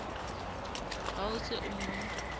ha o se o mo